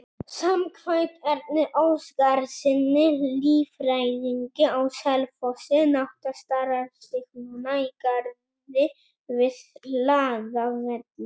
Samkvæmt Erni Óskarssyni, líffræðingi á Selfossi, nátta starar sig núna í garði við Hlaðavelli.